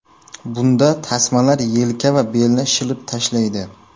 Bunda tasmalar yelka va belni shilib tashlaydi.